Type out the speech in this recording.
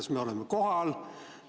Kas me oleme kohal?